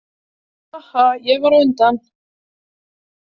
Haha, ég var á undan!